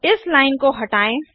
इस लाइन को हटाएँ